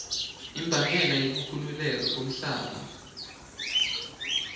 imbangela yokukhukhuleka komhlaba